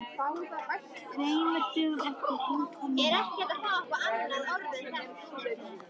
Tveimur dögum eftir heimkomuna gekk ég um borgina.